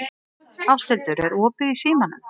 Ásthildur, er opið í Símanum?